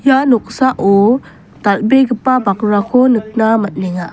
ia noksao dal·begipa bakrako nikna man·enga.